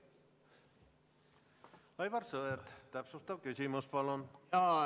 Aivar Sõerd, täpsustav küsimus palun!